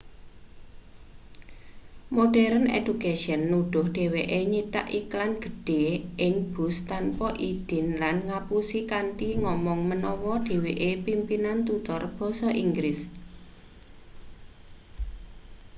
modern education nuduh dheweke nyitak iklan gedhe ing bus tanpa idin lan ngapusi kanthi ngomong menawa dheweke pimpinan tutor basa inggris